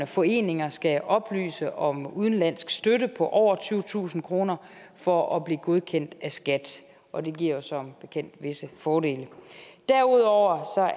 foreninger skal oplyse om udenlandsk støtte på over tyvetusind kroner for at blive godkendt af skat og det giver jo som bekendt visse fordele derudover